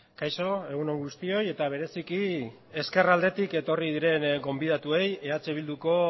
kaixo egun on guztioi eta bereziki ezkerraldetik etorri diren gonbidatuei eh bilduko